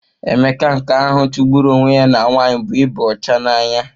Emeka nke ahụ chụgburu onwe ya na nwanyị bụ ịba ọcha n'anya.